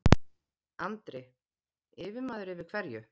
Andri: Yfirmaður yfir hverju?